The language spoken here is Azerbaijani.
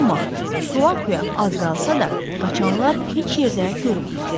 Amma Suakya az qalsa da, qaçanlar heç yerdə görünmürdü.